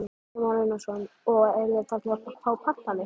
Kristján Már Unnarsson: Og eruð þið farnir að fá pantanir?